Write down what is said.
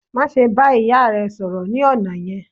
Má ṣe ba ìyà rẹ sọ̀rọ̀ ni ọna yẹn!